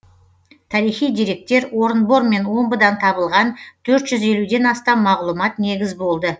тарихи деректер орынбор мен омбыдан табылған төрт жүз елуден астам мағлұмат негіз болды